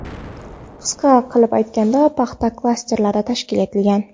Qisqa qilib aytganda paxta klasteri tashkil etgan.